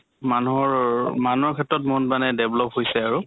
মানুহৰ অৰ মানুহৰ ক্ষেত্ৰত মানে develop হৈছে আৰু।